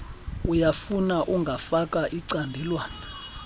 uyafuna ungafaka icandelwana